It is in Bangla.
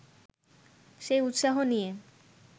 সেই উৎসাহ নিয়ে